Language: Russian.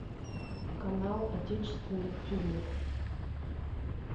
канал отечественных фильмов